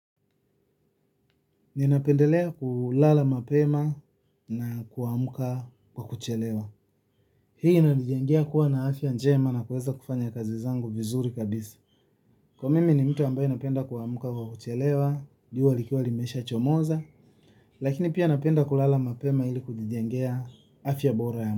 Ninapendelea kulala mapema na kuamka kwa kuchelewa. Hii inanijengea kuwa na afya njema na kueza kufanya kazi zangu vizuri kabisa. Kwa mimi ni mtu ambaye napenda kuamka kwa kuchelewa, jua likiwa limeshachomoza. Lakini pia napenda kulala mapema ili kujijengea afya bora ya.